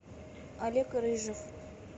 олег рыжев